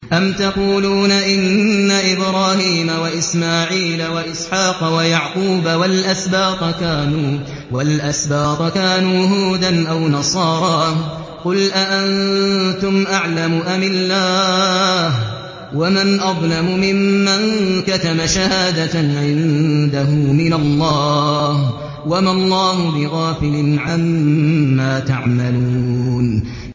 أَمْ تَقُولُونَ إِنَّ إِبْرَاهِيمَ وَإِسْمَاعِيلَ وَإِسْحَاقَ وَيَعْقُوبَ وَالْأَسْبَاطَ كَانُوا هُودًا أَوْ نَصَارَىٰ ۗ قُلْ أَأَنتُمْ أَعْلَمُ أَمِ اللَّهُ ۗ وَمَنْ أَظْلَمُ مِمَّن كَتَمَ شَهَادَةً عِندَهُ مِنَ اللَّهِ ۗ وَمَا اللَّهُ بِغَافِلٍ عَمَّا تَعْمَلُونَ